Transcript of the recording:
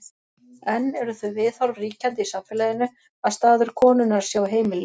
enn eru þau viðhorf ríkjandi í samfélaginu að staður konunnar sé á heimilinu